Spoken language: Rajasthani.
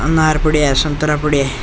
अनार पड़ा है संतरा पड़ा है।